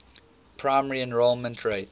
primary enrollment rate